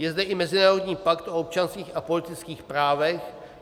Je zde i Mezinárodní pakt o občanských a politických právech.